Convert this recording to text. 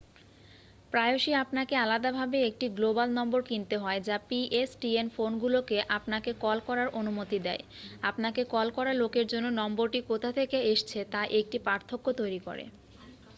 প্রায়শই আপনাকে আলাদাভাবে একটি গ্লোবাল নম্বর কিনতে হয় যা pstn ফোনগুলোকে আপনাকে কল করার অনুমতি দেয় আপনাকে কল করা লোকের জন্য নম্বরটি কোথা থেকে এসছে তা একটি পার্থক্য তৈরি করে